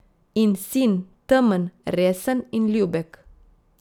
In sin, temen, resen in ljubek.